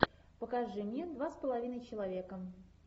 покажи мне два с половиной человека